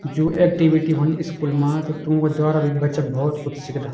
जू एक्टिविटी होंदी स्कूल मा त तूंक द्वारा भी बच्चा भोत कुछ सिखदा।